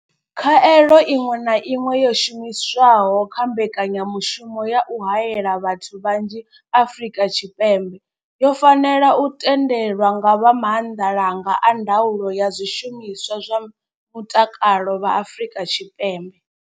Khaelo iṅwe na iṅwe yo shumiswaho kha mbekanyamushumo ya u haela vhathu vhanzhi Afrika Tshipembe yo fanela u tendelwa nga vha maanḓalanga a ndaulo ya zwishumiswa zwa mutakalo vha Afrika.